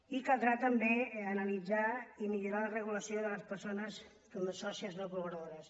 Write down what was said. i caldrà també analitzar i millorar la regulació de les persones com a sòcies no col·laboradores